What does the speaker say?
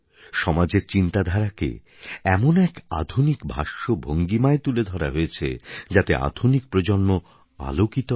সমাজের চিন্তাধারাকে এমন এক আধুনিক ভাষ্যভঙ্গিমায় তুলে ধরা হয়েছে যাতে আধুনিক প্রজন্ম আলোকিত হয়